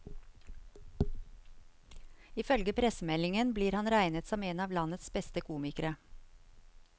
Ifølge pressemeldingen blir han regnet som en av landets beste komikere.